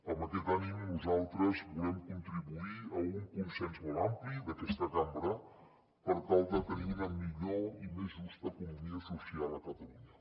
amb aquest ànim nosaltres volem contribuir a un consens molt ampli d’aquesta cambra per tal de tenir una millor i més justa economia social a catalunya